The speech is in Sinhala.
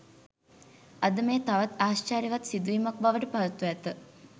අද මෙය තවත් ආශ්චර්යවත් සිදුවීමක් බවට පත්ව ඇත